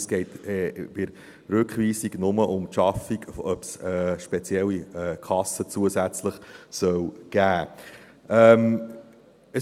Es geht bei der Rückweisung nur um die Schaffung und ob es eine zusätzliche Kasse geben soll.